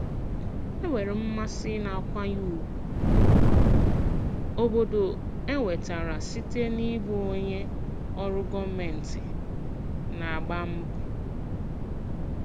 Enwere m mmasị na nkwanye ùgwù obodo enwetara site n'ịbụ onye ọrụ gọọmentị na-agba mbọ.